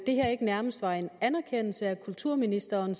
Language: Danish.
her ikke nærmest var en anerkendelse af det kulturministeren